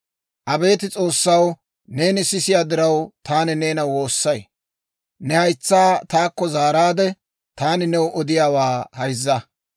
Abeet S'oossaw, neeni sisiyaa diraw, taani neena woossay. Ne haytsaa taakko zaaraadde, taani new odiyaawaa hayzza.